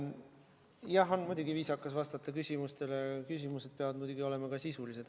Jah, muidugi on viisakas vastata küsimustele, aga küsimused peavad olema sisulised.